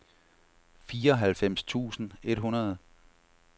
fireoghalvfems tusind et hundrede